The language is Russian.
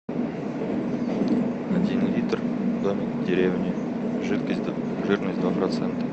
один литр домик в деревне жирность два процента